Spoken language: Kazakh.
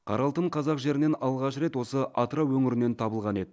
қара алтын қазақ жерінен алғаш рет осы атырау өңірінен табылған еді